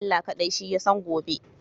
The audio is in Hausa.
Allah kaɗai Shi Ya san gobe.